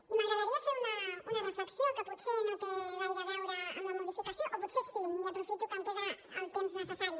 i m’agradaria fer una reflexió que potser no té gaire a veure amb la modificació o potser sí i aprofito que em queda el temps necessari